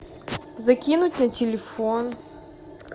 закинуть на телефон